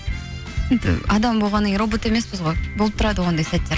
енді адам болғаннан кейін робот емеспіз ғой болып тұрады ғой ондай сәттер